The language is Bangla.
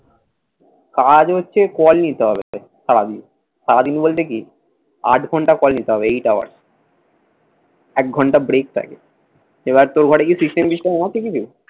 কাজ হচ্ছে কল নিতে হবে তোকে সারাদিন। সারাদিন বলতে কি আট ঘণ্টা call নিতে হবে eight hours এক ঘণ্টা break থাকে। এবার তোর ঘরে কি system টিস্টেম আছে কিছু।